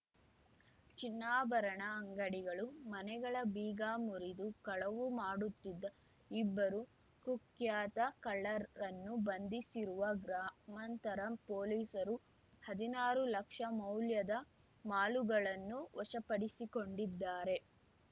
ಚಿನ್ನಾಭರಣ ಅಂಗಡಿಗಳು ಮನೆಗಳ ಬೀಗ ಮುರಿದು ಕಳವು ಮಾಡುತ್ತಿದ್ದ ಇಬ್ಬರು ಕುಖ್ಯಾತ ಕಳ್ಳರನ್ನು ಬಂಧಿಸಿರುವ ಗ್ರಾಮಾಂತರ ಪೊಲೀಸರು ಹದಿನಾರು ಲಕ್ಷ ಮೌಲ್ಯದ ಮಾಲುಗಳನ್ನು ವಶಪಡಿಸಿಕೊಂಡಿದ್ದಾರೆ